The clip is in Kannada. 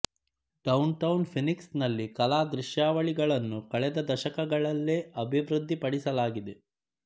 ಡೌನ್ ಟೌನ್ ಫೀನಿಕ್ಸ್ ನಲ್ಲಿ ಕಲಾ ದೃಶ್ಯಾವಳಿಗಳನ್ನು ಕಳೆದ ದಶಕಗಳಲ್ಲೇ ಅಭಿವೃದ್ಧಿಪಡಿಸಲಾಗಿದೆ